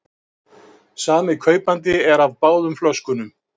Sami kaupandi er af báðum flöskunum